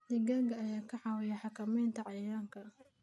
Digaagga ayaa ka caawiya xakamaynta cayayaanka.